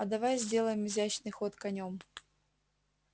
а давай сделаем изящный ход конём